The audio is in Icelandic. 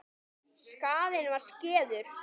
Skaðinn var skeður.